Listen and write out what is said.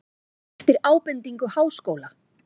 Eftir ábendingu Háskóla